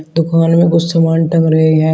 दुकान में कुछ सामान टंग रहे हैं।